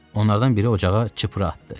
Onlardan biri ocağa çipra atdı.